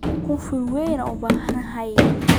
Kunful weyn ubahanhy.